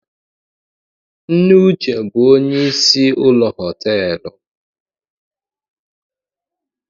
Nne uche bu onye isi ụlọ họtelụ